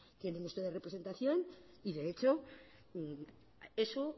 tienen ustedes representación y de hecho eso